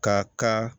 Ka